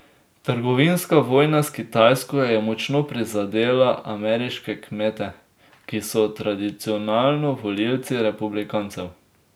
Trgovinska vojna s Kitajsko je močno prizadela ameriške kmete, ki so tradicionalno volivci republikancev.